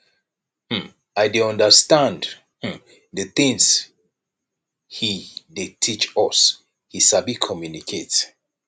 um i dey understand um the things he dey teach us he sabi communicate